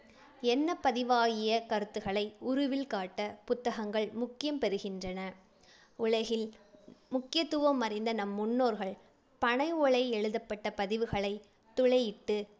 எண்ணப் பதிவாகிய கருத்துகளை உருவில் காட்ட புத்தகங்கள் முக்கியம் பெறுகின்றன. உலகில் முக்கியத்துவம் அறிந்த நம் முன்னோர்கள் பனை ஓலையில் எழுதப்பட்ட பதிவுகளை துளையிட்டு